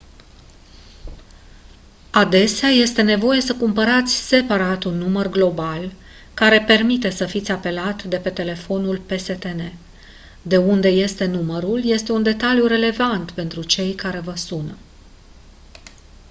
adesea este nevoie să cumpărați separat un număr global care permite să fiți apelat de pe telefoane pstn de unde este numărul este un detaliu relevant pentru cei care vă sună